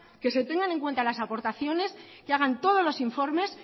que se tengan en cuenta las aportaciones que hagan todos los informes